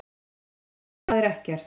Þá spyr ég: HVAÐ ER EKKERT?